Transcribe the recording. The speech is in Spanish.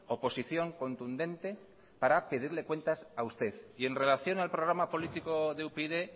oposición contundente para pedirle cuentas a usted y en relación al programa político de upyd